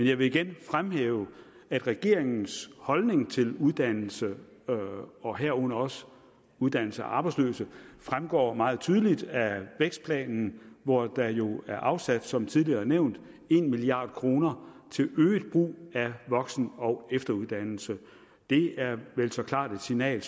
jeg vil igen fremhæve at regeringens holdning til uddannelse og herunder også uddannelse af arbejdsløse fremgår meget tydeligt af vækstplanen hvor der jo er afsat som tidligere nævnt en milliard kroner til øget brug af voksen og efteruddannelse det er vel så klart et signal